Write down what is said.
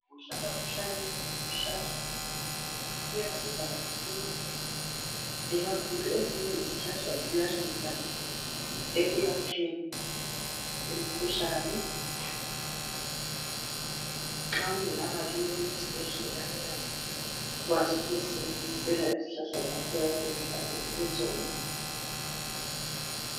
Ukuhlala uhlanyele izihlahla, kuyasiza kakhulu. Ikakhulu ezinye izihlahla ziyanceda, ekwelapheni imikhuhlane. Nxa ungalamali, yokuya esibhedlela. Uyakwazi ukuzisebenzisela izihlahla zakho, oyabe uzihlanyelele zona.